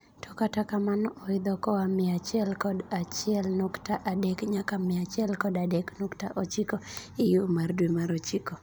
To kata kamano oidho koa mia achiel kod achiel nukta adek nyaka mia achiel kod adek nukta ochiko e gigo mar dwee mar ochiko.